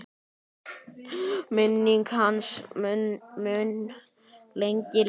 Minning hans mun lengi lifa.